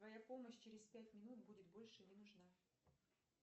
твоя помощь через пять минут будет больше не нужна